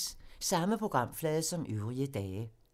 Samme programflade som øvrige dage